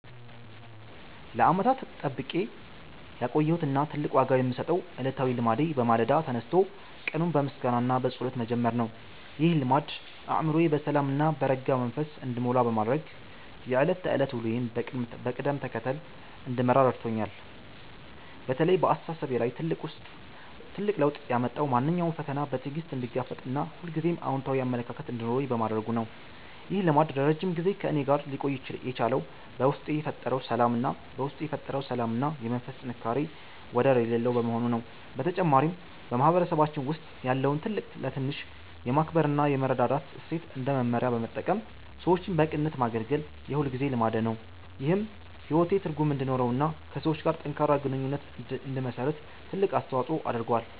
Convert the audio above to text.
ለዓመታት ጠብቄ ያቆየሁት እና ትልቅ ዋጋ የምሰጠው ዕለታዊ ልማዴ በማለዳ ተነስቶ ቀኑን በምስጋና እና በጸሎት መጀመር ነው። ይህ ልማድ አእምሮዬ በሰላም እና በረጋ መንፈስ እንዲሞላ በማድረግ የዕለት ተዕለት ውሎዬን በቅደም ተከተል እንድመራ ረድቶኛል። በተለይ በአስተሳሰቤ ላይ ትልቅ ለውጥ ያመጣው ማንኛውንም ፈተና በትዕግስት እንድጋፈጥ እና ሁልጊዜም አዎንታዊ አመለካከት እንዲኖረኝ በማድረጉ ነው። ይህ ልማድ ለረጅም ጊዜ ከእኔ ጋር ሊቆይ የቻለው በውስጤ የፈጠረው ሰላም እና የመንፈስ ጥንካሬ ወደር የሌለው በመሆኑ ነው። በተጨማሪም፣ በማህበረሰባችን ውስጥ ያለውን ትልቅ ለትንሽ የማክበር እና የመረዳዳት እሴት እንደ መመሪያ በመጠቀም ሰዎችን በቅንነት ማገልገል የሁልጊዜ ልማዴ ነው። ይህም ሕይወቴ ትርጉም እንዲኖረውና ከሰዎች ጋር ጠንካራ ግንኙነት እንድመሰርት ትልቅ አስተዋጽኦ አድርጓል።